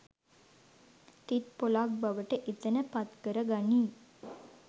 තිත් පොළක් බවට එතන පත්කර ගනී